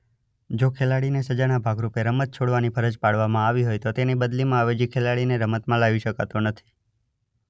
જો ખેલાડીને સજાના ભાગરૂપે રમત છોડવાની ફરજ પાડવામાં આવી હોય તેની બદલીમાં અવેજી ખેલાડીને રમતમાં લાવી શકાતો નથી.